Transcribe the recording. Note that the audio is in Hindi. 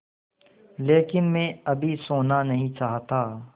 लेकिन मैं अभी सोना नहीं चाहता